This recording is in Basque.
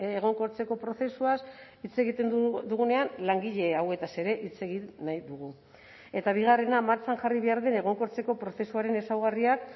egonkortzeko prozesuaz hitz egiten dugunean langile hauetaz ere hitz egin nahi dugu eta bigarrena martxan jarri behar den egonkortzeko prozesuaren ezaugarriak